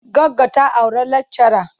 Goggo ta auri lakchara.